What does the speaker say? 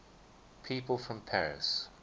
people from paris